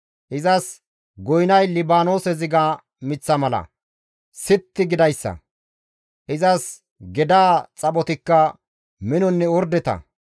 Izas goynay Libaanoose ziga miththa mala sitti gidayssa; izas gedaa xaphotikka minonne ordeta.